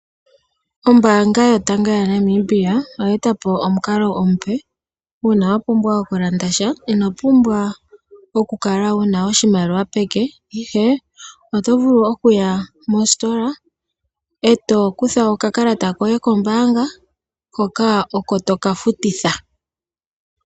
Ombaanga yotango yopashigwana moNamibia oya eta po omukalo omupe uuna wa pumbwa oku landa sha ino pumbwa oku kala wuna oshimaliwa peke, ihe oto vulu okuya mositola eto kutha oka kalata koye kombaanga hoka oko toka futitha.